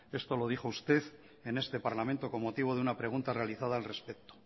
esto lo dijo usted en este parlamento con motivo de una pregunta realizada al respecto